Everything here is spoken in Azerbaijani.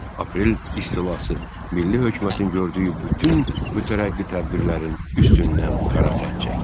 Aprel istilası milli hökumətin gördüyü bütün mütərəqqi tədbirlərin üstündən qara xətt çəkdi.